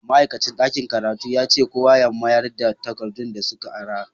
Ma'aikacin dakin karatu yace kowa ya mayarda takadun da suka ara.